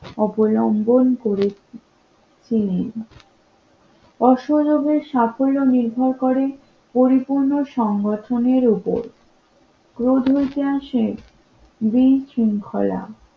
অবলম্বন করে নির্ভর করে পরিপূর্ণ সংগঠনের উপর রোদ হয়েছে